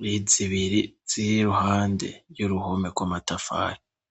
ni zibiri ziri iruhande y'uruhome gw'amatafari.